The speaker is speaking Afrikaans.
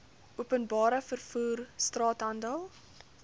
openbare vervoer straathandel